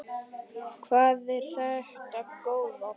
Hvað er þetta góða!